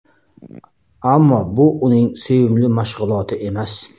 Ammo bu uning sevimli mashg‘uloti emas.